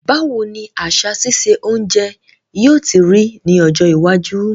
Báwoni àsà sise ounje yio ti rí ní ọjọ́ iwájú